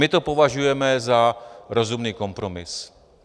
My to považujeme za rozumný kompromis.